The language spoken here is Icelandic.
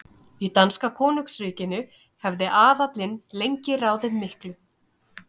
Í danska konungsríkinu hafði aðallinn lengi ráðið miklu.